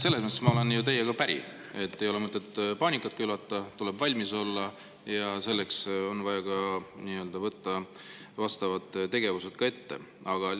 Selles mõttes ma olen ju teiega päri, et ei ole mõtet paanikat külvata, tuleb valmis olla, ja selleks on vaja vastavad tegevused ette võtta.